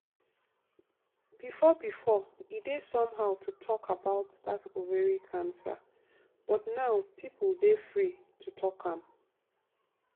before before e dey somehow to talk about that ovary cancer but now people dey free to talk am.